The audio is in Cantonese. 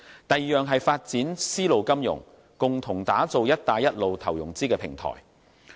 第二，是發展絲路金融，共同打造"一帶一路"投融資平台。